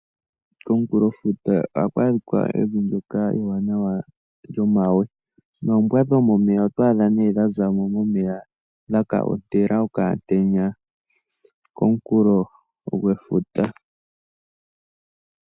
Komunkulofuta ohaku adhika evi ndyoka ewanawa lyomawe, noombwa dhomomeya oto a dha nee dha za mo, dhaka ontela okamutenya komunkulo gwefuta.